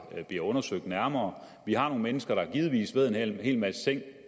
bliver undersøgt nærmere vi har nogle mennesker der givetvis ved en hel masse ting